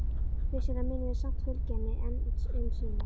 Vissulega munum við samt fylgja henni enn um sinn.